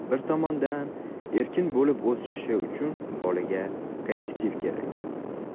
Bir tomondan, erkin bo‘lib o‘sishi uchun bolaga kollektiv kerak.